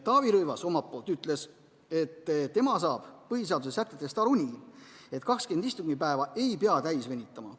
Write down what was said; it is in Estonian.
Taavi Rõivas omalt poolt ütles, et tema saab põhiseaduse sätetest aru nii, et 20 istungipäeva ei pea täis venitama.